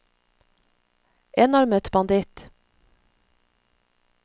enarmet banditt